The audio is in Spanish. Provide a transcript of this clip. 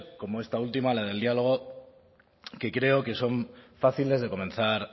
como esta última la del diálogo que creo que son fáciles de comenzar